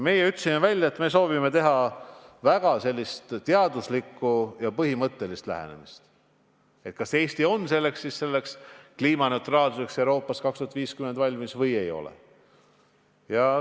Meie ütlesime välja, et soovime rakendada väga sellist teaduslikku ja põhimõttelist lähenemist seoses sellega, kas Eesti on 2050. aastaks Euroopa kliimaneutraalsuse saavutamiseks valmis või ei ole.